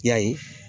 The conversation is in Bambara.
I y'a ye